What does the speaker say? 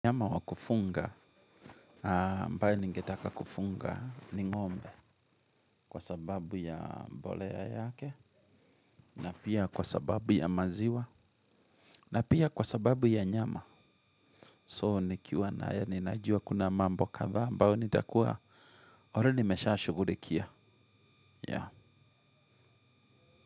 Nyama wa kufunga, ambaye ningetaka kufunga ni ng'ombe kwa sababu ya mbolea yake, na pia kwa sababu ya maziwa, na pia kwa sababu ya nyama. So nikiwa na ya ninajua kuna mambo kadhaa, ambayo nitakuwa oru nimesha yashughurikia.